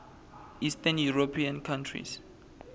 eastern european countries